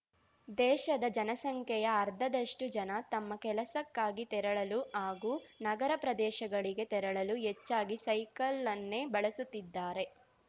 ದೇಶದ ಜನಸಂಖ್ಯೆಯ ಅರ್ಧದಷ್ಟು ಜನ ತಮ್ಮ ಕೆಲಸಕ್ಕಾಗಿ ತೆರಳಲು ಹಾಗೂ ನಗರ ಪ್ರದೇಶಗಳಿಗೆ ತೆರಳಲು ಹೆಚ್ಚಾಗಿ ಸೈಕಲ್‌ನ್ನೇ ಬಳಸುತ್ತಿದ್ದಾರೆ